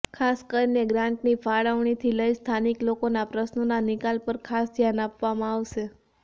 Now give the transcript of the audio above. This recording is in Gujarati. ખાસ કરીને ગ્રાંટની ફાળવણીથી લઇ સ્થાનિક લોકોના પ્રશ્નોના નિકાલ પર ખાસ ધ્યાન આપવામાં આવશે